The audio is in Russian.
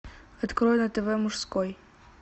открой на тв мужской